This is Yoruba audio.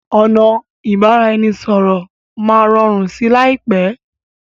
ọnà ibaraẹnisọrọ má rọrùn sí láìpé.